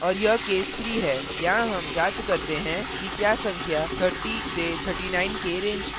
और यह case 3 है यहाँ हम जांच करते हैं कि क्या संख्या 3039 के range की है